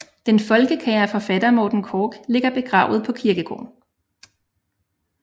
Den folkekære forfatter Morten Korch ligger begravet på kirkegården